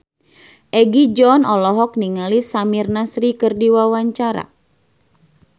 Egi John olohok ningali Samir Nasri keur diwawancara